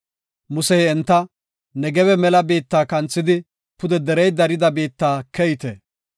Musey enta, “Negebe mela biitta kanthidi pude derey dariya biitta keyte.